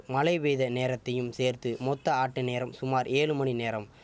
மழை பெய்த நேரத்தையும் சேர்த்து மொத்த ஆட்ட நேரம் சுமார் ஏழு மணி நேரம்